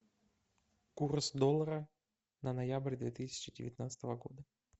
курс доллара на ноябрь две тысячи девятнадцатого года